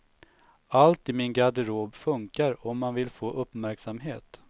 Allt i min garderob funkar om man vill få uppmärksamhet.